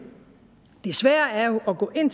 det svære er jo at gå ind